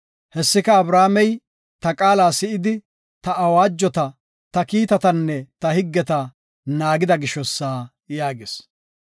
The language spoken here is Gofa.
Hessika, Abrahaamey ta qaala si7idi, ta awaajota, ta kiitatanne ta higgeta naagida gishosa” yaagis.